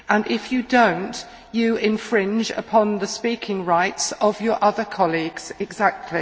If you do not, you infringe upon the speaking rights of your other colleagues exactly.